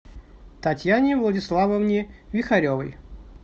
татьяне владиславовне вихаревой